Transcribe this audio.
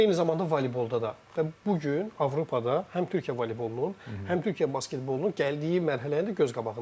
Eyni zamanda voleybolda da və bu gün Avropada həm Türkiyə voleybolunun, həm Türkiyə basketbolunun gəldiyi mərhələ də göz qabağındadır.